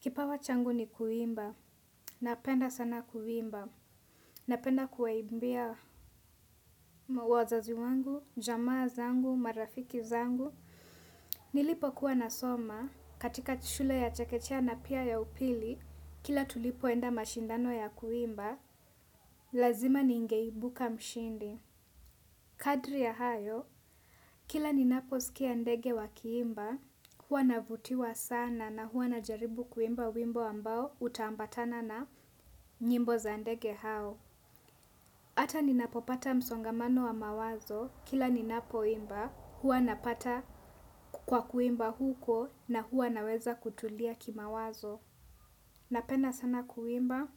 Kipawa changu ni kuimba. Napenda sana kuimba. Napenda kuwaimbia, wazazi wangu, jamaa zangu, marafiki zangu. Nilipo kuwa nasoma katika shule ya chekechea na pia ya upili, kila tulipoenda mashindano ya kuimba, lazima ningeibuka mshindi. Kadri ya hayo, kila ninapo sikia ndege wakiimba, huwa navutiwa sana na huwa najaribu kuimba wimbo ambao utaambatana na nyimbo za ndege hao. Hata ninapopata msongamano wa mawazo kila ninapo imba, huwa napata kwa kuimba huko na huwa naweza kutulia kimawazo. Napenda sana kuimba.